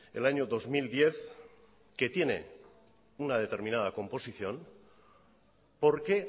el año dos mil diez que tiene una determinada composición por qué